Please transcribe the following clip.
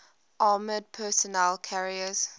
armored personnel carriers